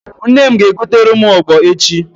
Nne m ga- egotere m ogbo echi.